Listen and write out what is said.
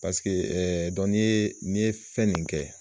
Pasike n'i ye n'i ye fɛn nin ye